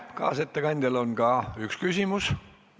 Kaasettekandjale on vähemalt üks küsimus.